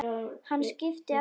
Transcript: Hann skipti aftur um akrein.